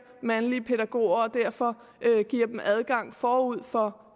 mandlige pædagoger og derfor giver dem adgang forud for